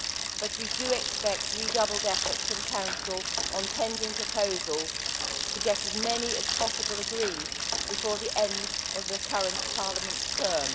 but we do expect redoubled efforts from the Council on pending proposals, to get as many as possible agreed before the end of the current Parliament's term.